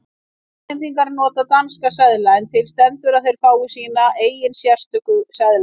Grænlendingar nota danska seðla en til stendur að þeir fái sína eigin sérstöku seðla.